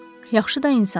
Yaxşı da insandır.